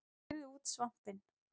Skerið út svampinn